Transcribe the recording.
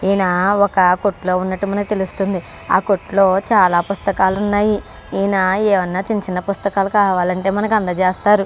ఇక్కడ ఒక ఆయన కుట్లో ఉన్నతు ఉన్నదు. ఆ కుట్లో చాల పుస్తకాలూ ఉన్నదు.